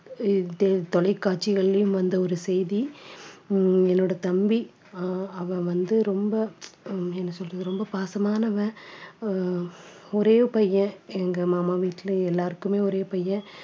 தொலைக்காட்சிகளிலேயும் வந்த ஒரு செய்தி உம் என்னோட தம்பி அஹ் அவன் வந்து ரொம்ப அஹ் என்ன சொல்றது ரொம்ப பாசமானவன் அஹ் ஒரே பையன் எங்க மாமா வீட்டுல எல்லாருக்குமே ஒரே பையன்